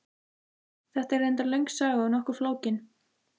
Þetta er reyndar löng saga og nokkuð flókin.